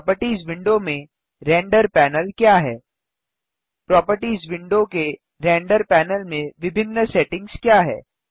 properties window में render panel क्या है प्रोपर्टिज विंडो के रेंडर पैनल में विभिन्न सेटिंग्स क्या हैं